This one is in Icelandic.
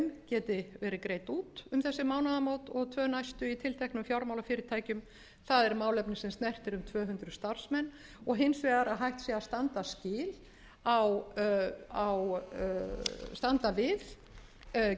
geti verið greidd út um þessi mánaðamót og tvö næstu í tilteknum fjármálafyrirtækjum það er málefni sem snertir um tvö hundruð starfsmenn og hins vegar að hægt sé að standa við